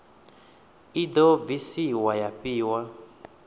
i do bvisiwa ya fhiwa